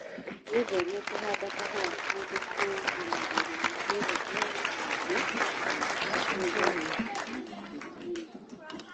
Wĩtheme kũhanda kahũa kũndu kũgũmagĩrwo nĩ heho nyingĩ kana ũrugarĩ mũkĩru mũno